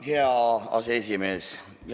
Hea aseesimees!